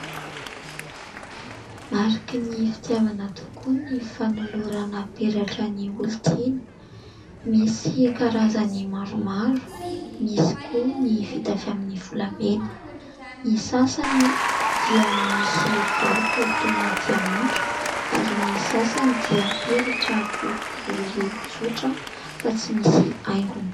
Mariky ny fitiavana tokoa ny fanolorana peratra ny olontiana. Misy karazany maromaro, misy koa ny vita avy amin'ny volamena. Ny sasany moa dia misy vato toy ny diamondra ary ny sasany dia peratra boribory tsotra fa tsy misy haingony.